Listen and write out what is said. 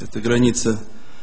это граница